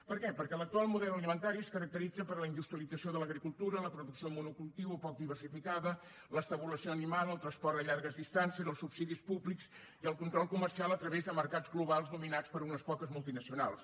per què perquè l’actual model alimentari es caracteritza per la industrialització de l’agricultura la producció monocultiu o poc diversificada l’estabulació animal el transport a llargues distàncies els subsidis públics i el control comercial a través de mercats globals dominats per unes poques multinacionals